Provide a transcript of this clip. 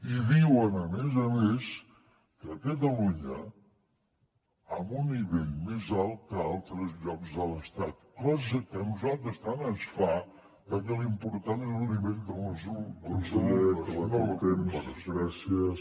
i diuen a més a més que a catalunya amb un nivell més alt que altres llocs de l’estat cosa que a nosaltres tant ens fa perquè l’important és el nivell dels alumnes no la comparació